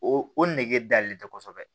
O o nege dalen tɛ kosɛbɛ